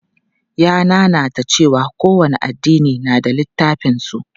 Ya nanata cewa kowane addini na da littafan su.